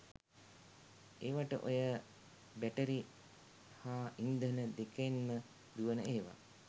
ඒවට ඔය බැටරි හා ඉන්ධන දෙකෙන්ම දුවන ඒව.